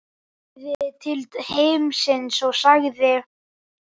Horfði til himins og sagði: